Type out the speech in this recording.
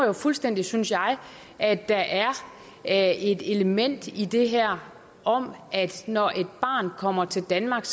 jo fuldstændig synes jeg at der er et element i det her om at når et barn kommer til danmark